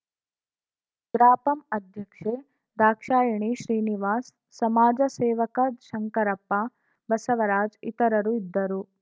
ಗ್ರಾಪಂ ಅಧ್ಯಕ್ಷೆ ದಾಕ್ಷಾಯಿಣಿ ಶ್ರೀನಿವಾಸ್‌ ಸಮಾಜ ಸೇವಕ ಶಂಕರಪ್ಪ ಬಸವರಾಜ್‌ ಇತರರು ಇದ್ದರು